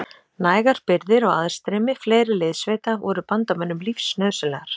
Nægar birgðir og aðstreymi fleiri liðssveita voru bandamönnum lífsnauðsynlegar.